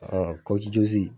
Ɔn